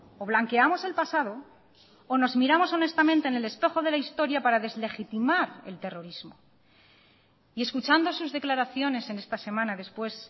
o blanqueamos el pasado o nos miramos honestamente en el espejo de la historia para deslegitimar el terrorismo y escuchando sus declaraciones en esta semana después